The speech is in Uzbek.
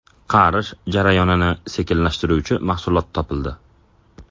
Qarish jarayonini sekinlashtiruvchi mahsulot topildi.